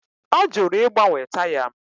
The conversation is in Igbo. Ọ jụrụ ịgbanwe taya m